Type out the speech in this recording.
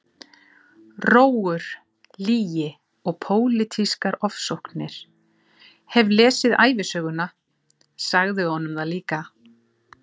Rógur, lygi og pólitískar ofsóknir, hef lesið ævisöguna- sagði honum það líka!